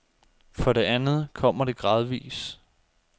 For det andet kommer det gradvis.